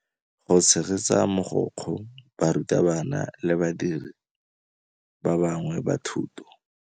Go tshegetsa mogokgo, barutabana le badiri ba bangwe ba thuto.